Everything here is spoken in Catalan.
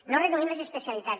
no reduïm les especialitats